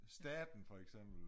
Staten for eksempel